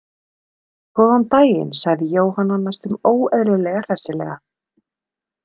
Góðan daginn, sagði Jóhanna næstum óeðlilega hressilega.